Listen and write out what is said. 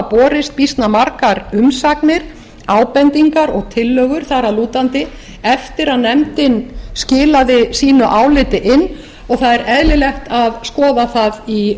borist býsna margar umsagnir ábendingar og tillögur þar að lútandi eftir að nefndin skilaði sínu áliti inn og það er eðlilegt að skoða það í